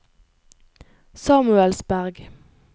Samuelsberg